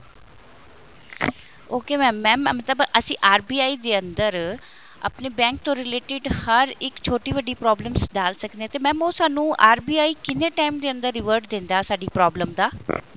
ok mam mam ਮਤਲਬ ਅਸੀਂ RBI ਦੇ ਅੰਦਰ ਆਪਣੇ bank ਤੋਂ related ਹਰ ਇੱਕ ਛੋਟੀ ਵੱਡੀ problems ਡਾਲ ਸਕਦੇ ਹਾਂ ਤੇ mam ਉਹ ਸਾਨੂੰ RBI ਕਿੰਨੇ time ਦੇ ਅੰਦਰ revert ਦਿੰਦਾ ਉਹ ਸਾਡੀ problem ਦਾ